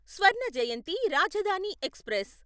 Swarna Jayanti Rajdhani express